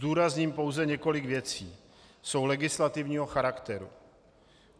Zdůrazním pouze několik věcí, jsou legislativního charakteru.